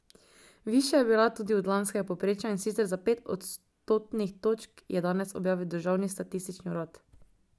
Višja je bila tudi od lanskega povprečja, in sicer za pet odstotnih točk, je danes objavil državni statistični urad.